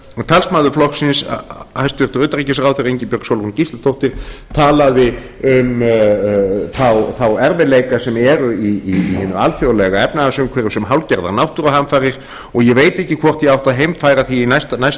talsmaður flokksins hæstvirts utanríkisráðherra ingibjörg sólrún gísladóttir talaði um þá erfiðleika sem eru í hinu alþjóðlega efnahagsumhverfi sem hálfgerðar náttúruhamfarir og ég veit ekki hvort ég átti að heimfæra það